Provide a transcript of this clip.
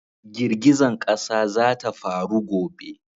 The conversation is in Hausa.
Girgizan ƙasa za ta faru gobe